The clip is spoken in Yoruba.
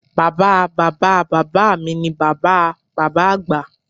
Bàbáa Bàbá Bàbá mi ni Bàbá a Bàbá Àgbà